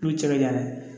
N'u cɛ ɲɛna